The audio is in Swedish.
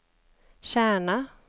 Kärna